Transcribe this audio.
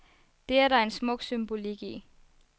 Det er der en smuk symbolik i.